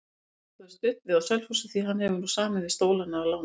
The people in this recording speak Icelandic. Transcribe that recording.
Hann stoppaði stutt við á Selfossi því hann hefur nú samið við Stólana á láni.